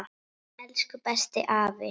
Elsku bestu afi.